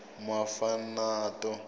mafanato